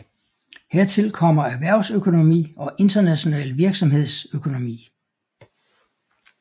Hertil kommer erhvervsøkonomi og international virksomhedsøkonomi